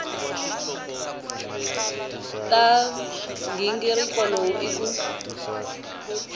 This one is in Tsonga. xa nghingiriko lowu i ku